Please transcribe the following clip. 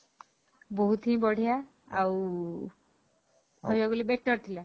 ବହୁତ ହିଁ ବଢିଆ ଆଉ କହିବାକୁ ଗଲେ better ଥିଲା